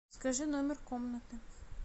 скажи номер комнаты